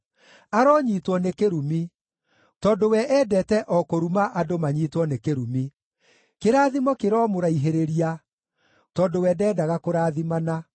Aronyiitwo nĩ kĩrumi, tondũ we endete o kũruma andũ manyiitwo nĩ kĩrumi; kĩrathimo kĩromũraihĩrĩria, tondũ we ndendaga kũrathimana.